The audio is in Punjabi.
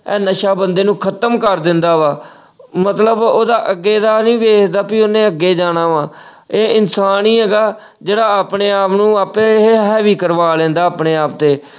ਆ ਨਸ਼ਾ ਬੰਦੇ ਨੂੰ ਖ਼ਤਮ ਕਰ ਦਿੰਦਾ ਵਾ ਅਹ ਮਤਲਬ ਉਹਦਾ ਅੱਗੇ ਦਾ ਨੀ ਵੇਖਦਾ ਕਿ ਉਹਨੇ ਅੱਗੇ ਜਾਣਾ ਵਾ ਇਹ ਇਨਸਾਨ ਹੀ ਹੈਗਾ ਜਿਹੜਾ ਆਪਣੇ ਆਪ ਨੂੰ ਆਪੇ ਏਹੇ ਹਾਵੀ ਕਰਵਾ ਲੈਂਦਾ ਆਪਣੇ ਆਪ ਤੇ।